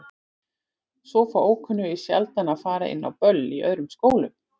Svo fá ókunnugir sjaldan að fara inn á böll í öðrum skólum.